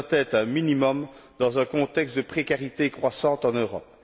Cela doit être un minimum dans un contexte de précarité croissante en Europe.